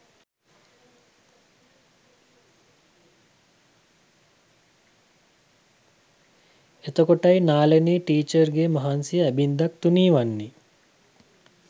එතකොටයි නාලනී ටීචර්ගේ මහන්සිය ඇබින්දක් තුනී වන්නේ